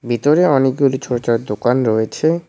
ভিতরে অনেকগুলি ছোট ছোট দোকান রয়েছে।